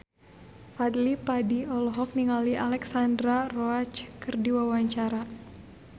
Fadly Padi olohok ningali Alexandra Roach keur diwawancara